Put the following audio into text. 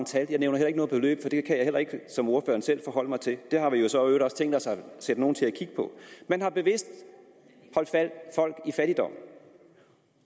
tal og jeg nævner heller ikke nogen beløb for det kan jeg heller ikke som ordføreren selv forholde mig til og det har vi jo så i øvrigt også tænkt os at sætte nogle til at kigge på man har bevidst holdt folk i fattigdom